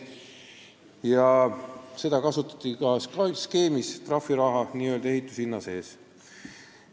Ja seda kasutati ka, selle trahvi raha oli ehituse hinna sees.